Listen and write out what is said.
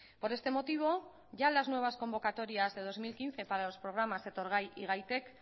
por este motivo ya las nuevas convocatorias de dos mil quince para los programas etorgai y gaitek